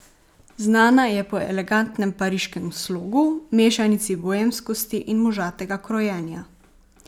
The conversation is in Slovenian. Znana je po elegantnem pariškem slogu, mešanici boemskosti in možatega krojenja.